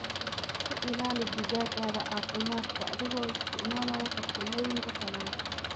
Ku ilaali digaaggaaga caafimaad adigoo isticmaalaya farsamooyinka tallaalka.